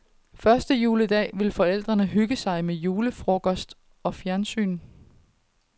Første juledag vil forældrene hygge sig med julefrokost og fjernsyn.